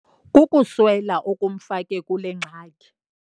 Kukuswela okumfake kule ngxaki.